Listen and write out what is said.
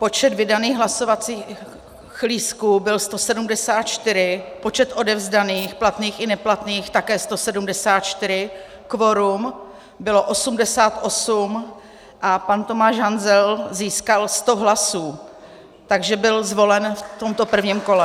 Počet vydaných hlasovacích lístků byl 174, počet odevzdaných, platných i neplatných, také 174, kvorum bylo 88 a pan Tomáš Hanzel získal 100 hlasů, takže byl zvolen v tomto prvním kole.